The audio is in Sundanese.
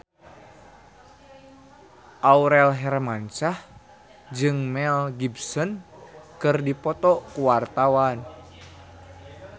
Aurel Hermansyah jeung Mel Gibson keur dipoto ku wartawan